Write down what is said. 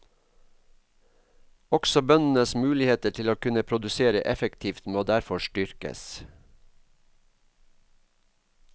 Også bøndenes muligheter til å kunne produsere effektivt må derfor styrkes.